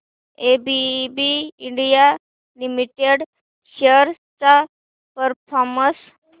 ABB India limited shares चा performance